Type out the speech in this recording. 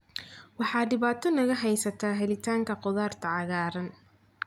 Waxa dhibaato naga haysata helitaanka khudaarta cagaaran.